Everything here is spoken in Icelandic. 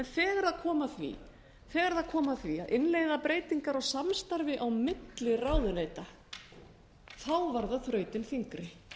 þegar það kom að því að innleiða breytingar á samstarfi á milli ráðuneyta var það þrautin þyngri